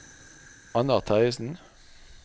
Annar Terjesen